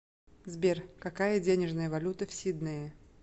сбер какая денежная валюта в сиднее